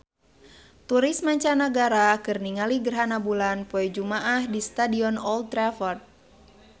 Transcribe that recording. Turis mancanagara keur ningali gerhana bulan poe Jumaah di Stadion Old Trafford